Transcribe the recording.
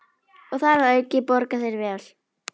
Og þar að auki borga þeir vel.